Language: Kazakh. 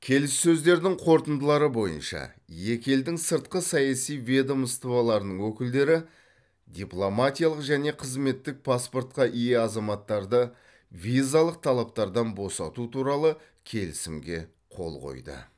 келіссөздердің қорытындылары бойынша екі елдің сыртқы саяси ведомстволарының өкілдері дипломатиялық және қызметтік паспортқа ие азаматтарды визалық талаптардан босату туралы келісімге қол қойды